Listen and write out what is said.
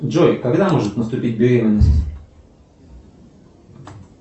джой когда может наступить беременность